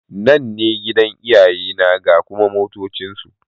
Nan ne gidan iyayena ga kuma motocinsu.